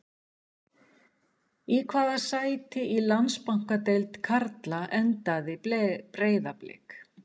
Í hvaða sæti í Landsbankadeild karla endaði Breiðablik?